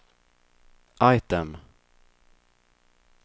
item